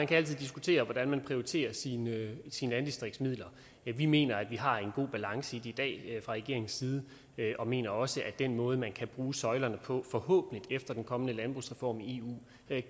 kan diskutere hvordan man prioriterer sine sine landdistriktsmidler vi mener at vi har en god balance i dag fra regeringens side og mener også at den måde man kan bruge søjlerne på forhåbentlig efter den kommende landbrugsreform i eu